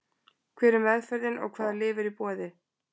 Hver er meðferðin og hvaða lyf eru í boði?